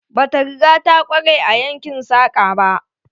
Bata riga ta kware a yankin saƙa ba.